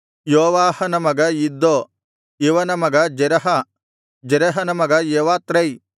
ಯೋವಾಹನ ಮಗ ಇದ್ದೋ ಇವನ ಮಗ ಜೆರಹ ಜೆರಹನ ಮಗ ಯೆವತ್ರೈ